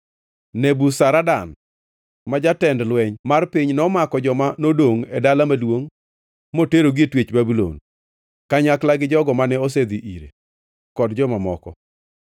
Nebuzaradan ma jatend lweny mar piny nomako joma nodongʼ e dala maduongʼ moterogi e twech Babulon, kanyakla gi jogo mane osedhi ire, kod joma moko.